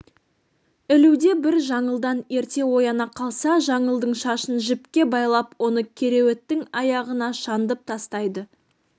ілуде бір жаңылдан ерте ояна қалса жаңылдың шашын жіпке байлап оны кереуеттің аяғына шандып тастайды